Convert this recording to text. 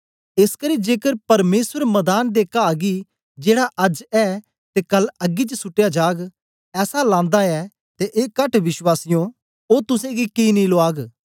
एसकरी जेकर परमेसर मदान दे काह गी जेड़ा अज्ज ऐ ते कल अग्गी च सुटया जाग ऐसा लांदा ऐ ते ए कहट विश्वासियों ओ तुसेंगी कि नेई लुआग